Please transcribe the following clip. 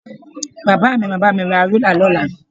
Bàbá mi máa bá mi ra rúlà lọ́la